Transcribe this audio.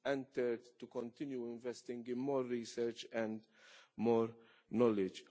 and, third, to continue investing in more research and more knowledge.